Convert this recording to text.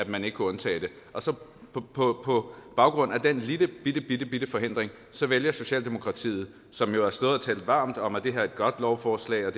man ikke kunne undtage det på baggrund af den lillebittebitte forhindring vælger socialdemokratiet som jo har stået og talt varmt om at det her er et godt lovforslag